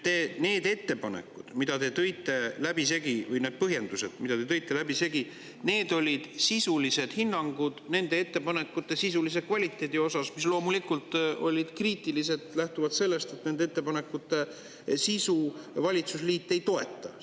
Need ettepanekud, mida te läbisegi tõite, või need põhjendused, mida te läbisegi tõite, olid sisulised hinnangud nende ettepanekute sisulisele kvaliteedile, mis loomulikult olid kriitilised lähtuvalt sellest, et nende ettepanekute sisu valitsusliit ei toeta.